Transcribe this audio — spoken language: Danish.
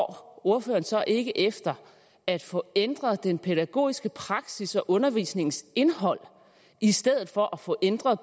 ordføreren så ikke går efter at få ændret den pædagogiske praksis og undervisningsindholdet i stedet for at få ændret